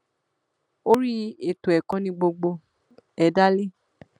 orí ètò ẹkọ ni gbogbo ẹ dá lé